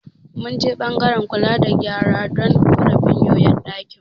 Mun je ɓangaren kula da gyara don ƙorafin yoyon ɗakin mu.